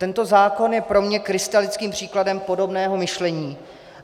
Tento zákon je pro mě krystalickým příkladem podobného myšlení.